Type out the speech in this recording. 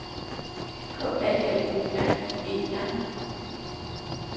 K A L O R I E R